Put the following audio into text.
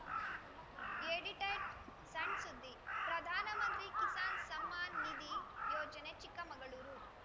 edited ಸಣ್‌ ಸುದ್ದಿ ಪ್ರಧಾನಮಂತ್ರಿ ಕಿಸಾನ್‌ ಸಮ್ಮಾನ್‌ ನಿಧಿ ಯೋಜನೆ ಚಿಕ್ಕಮಗಳೂರು